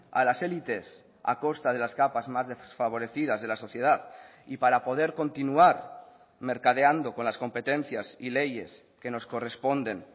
a las élites a costa de las capas más desfavorecidas de la sociedad y para poder continuar mercadeando con las competencias y leyes que nos corresponden